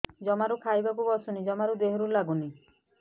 ଜମାରୁ ଖାଇବାକୁ ବସୁନି ଜମାରୁ ଦେହରେ ଲାଗୁନି